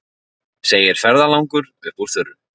segir ferðalangur upp úr þurru.